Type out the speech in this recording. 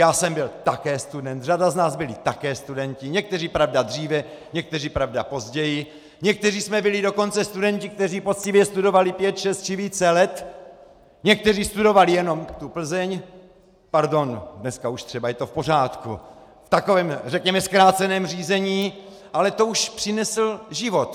Já jsem byl také student, řada z nás byli také studenti, někteří, pravda, dříve, někteří, pravda, později, někteří jsme byli dokonce studenti, kteří poctivě studovali pět, šest či více let, někteří studovali jenom tu Plzeň - pardon, dneska už třeba je to v pořádku - v takovém řekněme zkráceném řízení, ale to už přinesl život.